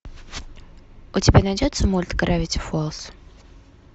у тебя найдется мульт гравити фолз